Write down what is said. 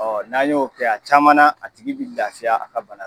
Ɔ n'a y'o kɛ a caman na, a tigi bɛ lafiya a ka bana na.